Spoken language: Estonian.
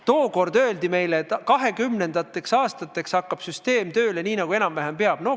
Tookord öeldi meile, et 2020. aastateks – no 2020. aastate keskpaigaks – hakkab süsteem tööle nii, nagu enam-vähem peab.